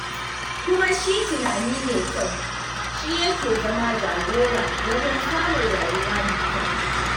Kuma shi tunani mai kyau, shi yake zama jagora wajen samun rayuwa mai kyau.